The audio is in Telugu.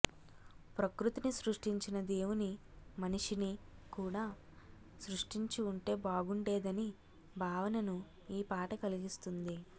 ప్రకృతిని సృష్టించిన దేవుని మనిషిని కూడా సృష్టించి వుంటే బాగుండేదని భావనను ఈ పాట కలిగిస్తుంది